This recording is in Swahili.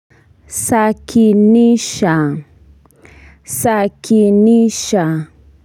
Sakinisha sakinisha.